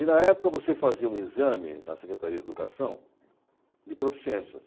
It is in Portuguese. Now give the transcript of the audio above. E, na época, você fazia um exame na Secretaria de Educação de proficiências.